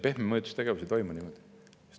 " Pehme mõjutustegevus ei toimu nii.